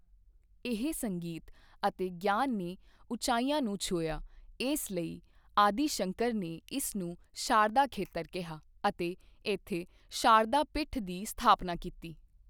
ਇਹੀ ਸੰਗੀਤ ਅਤੇ ਗਿਆਨ ਨੇ ਉਚਾਈਆਂ ਨੂੰ ਛੁਇਆ ਇਸ ਲਈ ਆਦਿਸ਼ੰਕਰ ਨੇ ਇਸ ਨੂੰ ਸ਼ਾਰਦਾ ਖੇਤਰ ਕਿਹਾ ਅਤੇ ਇੱਥੇ ਸ਼ਾਰਦਾ ਪੀਠ ਦੀ ਸਥਾਪਨਾ ਕੀਤੀ।